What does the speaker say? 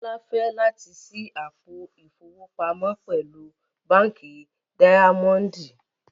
Bọlá fẹ̀ lati ṣí àpò ifowopamọ pẹ̀lú Bánkì Daimondì.